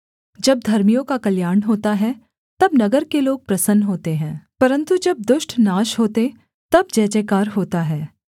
जब धर्मियों का कल्याण होता है तब नगर के लोग प्रसन्न होते हैं परन्तु जब दुष्ट नाश होते तब जय जयकार होता है